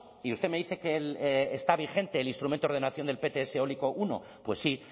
y usted me dice que está vigente el instrumento de ordenación del pts eólico primero pues sí